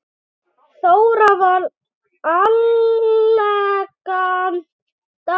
Þóra var elegant dama.